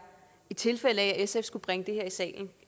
i tilfælde af at sf skulle bringe det her i salen